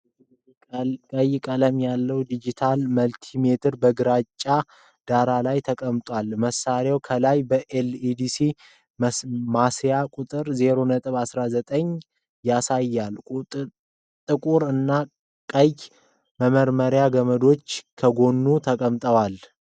ቀይ ቀለም ያለው ዲጂታል መልቲሜትር በግራጫ ዳራ ላይ ተቀምጧል። መሳሪያው ከላይ በኤልሲዲ ማሳያ ቁጥር 0.19 ያሳያል። ጥቁር እና ቀይ መመርመሪያ ገመዶች ከጎኑ ተንጠልጥለዋል።